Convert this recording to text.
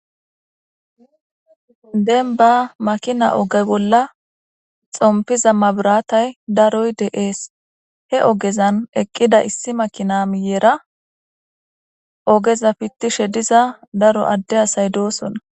Demba makina oge bolla xompiza mabirate daroyi de'ees he ogezan eqiza issi makina miyera ogeza pitishe diza daro ade away dosona